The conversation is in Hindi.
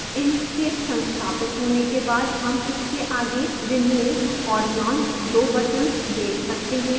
inkscape संस्थापित होने के बाद हम इसके आगे remove और launch दो buttons देख सकते हैं